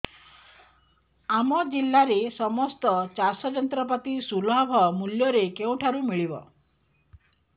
ଆମ ଜିଲ୍ଲାରେ ସମସ୍ତ ଚାଷ ଯନ୍ତ୍ରପାତି ସୁଲଭ ମୁଲ୍ଯରେ କେଉଁଠାରୁ ମିଳିବ